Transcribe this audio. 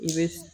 I bɛ